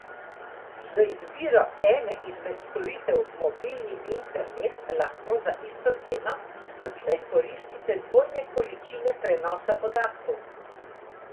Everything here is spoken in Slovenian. Z izbiro ene izmed storitev Mobilni Internet, lahko za isto ceno, odslej koristite dvojne količine prenosa podatkov.